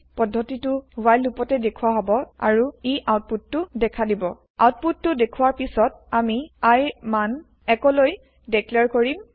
পাটছ পদ্ধতিটো ৱ্হাইল লুপতে দেখুৱা হব আৰু ই আউতপুতটো দেখা দিব আউতপুত টো দেখুৱাৰ পিছত আমি I ৰ মান ১ লৈ দেক্লেয়েৰ কৰিম